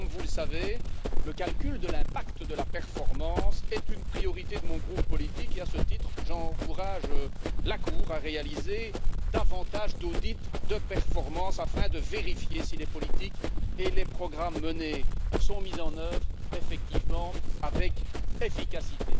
Comme vous le savez, le calcul de l'impact de la performance est une priorité de mon groupe politique et, à ce titre, j'encourage la Cour à réaliser davantage d'audits de performance afin de vérifier si les politiques et les programmes menés sont mis en œuvre effectivement avec efficacité.